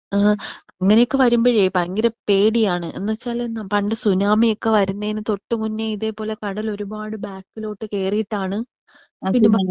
ആ അങ്ങനെയൊക്കെ വരുമ്പഴേ ഭയങ്കര പേടിയാണ് എന്ന് വെച്ചാൽ നമ പണ്ട് സുനാമിയൊക്കെ വരുന്നെന് തൊട്ട് മുന്നേ ഇതേപോലെ കടൽ ഒരുപാട് ബാക്കിലോട്ട് കേറിട്ടാണ് *നോട്ട്‌ ക്ലിയർ*.